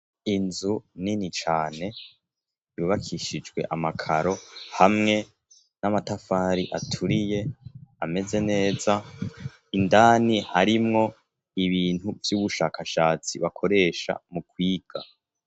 inzu nini cane yubakishijwe amakaro hamwe n'amatafari aturiye ameze neza indani harimwo ibintu by'ubushakashatsi bakoresha mu kwiga